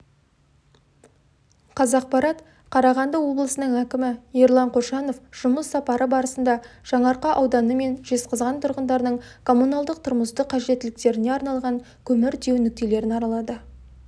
қазақпарат қарағанды облысының әкімі ерлан қошанов жұмыс сапары барысында жаңаарқа ауданы мен жезқазған тұрғындарының коммуналдық-тұрмыстық қажеттіліктеріне арналған көмір тиеу нүктелерін аралады